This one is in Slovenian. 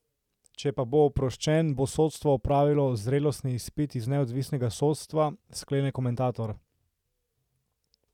Če pa bo oproščen, bo sodstvo opravilo zrelostni izpit iz neodvisnega sodstva, sklene komentator.